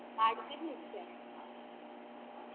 ભાડું કેટલુંક જાય